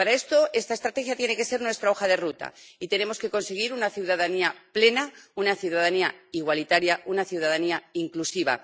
Para esto, esta estrategia tiene que ser nuestra hoja de ruta y tenemos que conseguir una ciudadanía plena, una ciudadanía igualitaria, una ciudadanía inclusiva.